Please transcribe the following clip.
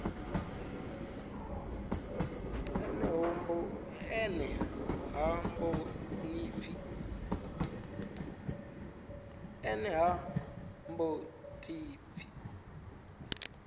ene ha mbo ḓi pfi